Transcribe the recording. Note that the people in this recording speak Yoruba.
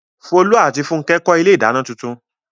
Folú àti Fúnkẹ́ kọ́ ilé-ìdáná tuntun.